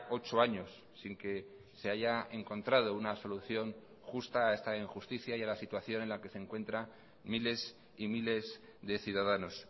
ocho años sin que se haya encontrado una solución justa a esta injusticia y a la situación en la que se encuentra miles y miles de ciudadanos